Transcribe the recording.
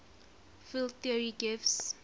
field theory gives